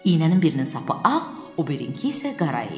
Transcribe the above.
İynənin birinin sapı ağ, o birinki isə qara idi.